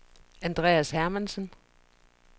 Andreas Hermansen